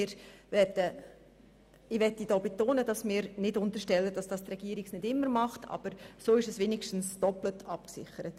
Wir möchten nicht unterstellen, dass die Regierung diese Überprüfung nicht sowieso vornimmt, aber so ist es zumindest doppelt abgesichert.